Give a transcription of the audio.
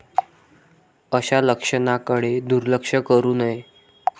अशा लक्षणांकडे दुर्लक्ष करू नये.